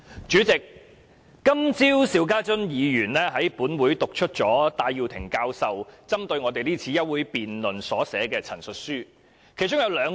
主席，邵家臻議員今早在本會讀出戴耀廷教授針對我們今次休會辯論所撰寫的陳述書，我想重申其中兩點。